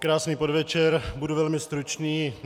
Krásný podvečer. Budu velmi stručný.